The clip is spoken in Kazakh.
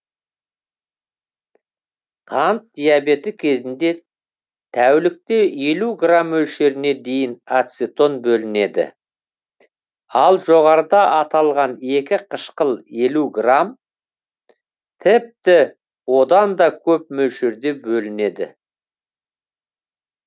қант диабеті кезінде тәулікте елу грамм мөлшеріне дейін ацетон бөлінеді ал жоғарыда аталған екі қышқыл елу грамм тіпті одан да көп мөлшерде бөлінеді